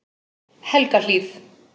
Helgahlíð